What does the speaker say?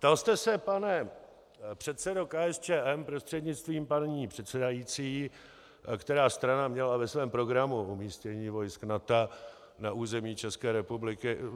Ptal jste se, pane předsedo KSČM prostřednictvím paní předsedající, která strana měla ve svém programu umístění vojsk NATO na území České republiky.